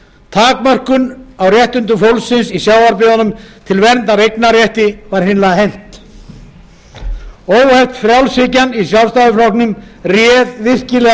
takmörkuðum réttindum fólks í sjávarbyggðum til verndar eignarrétti var eiginlega hent óheft frjálshyggjan í sjálfstæðisflokknum réð